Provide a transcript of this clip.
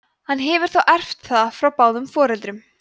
hann hefur þá erft það frá báðum foreldrum